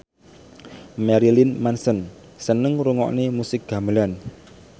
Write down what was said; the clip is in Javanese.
Marilyn Manson seneng ngrungokne musik gamelan